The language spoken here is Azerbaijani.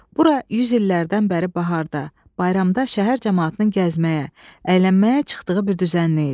Bura yüz illərdən bəri baharda, bayramda şəhər camaatının gəzməyə, əylənməyə çıxdığı bir düzənlik idi.